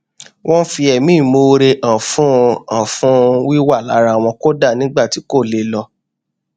ó fi ẹmí ìmoore hàn fún hàn fún wíwà lára wọn kódà nígbà tí kò lè lọ